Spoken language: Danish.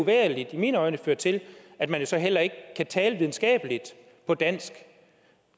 i mine øjne føre til at man jo så heller ikke kan tale videnskabeligt på dansk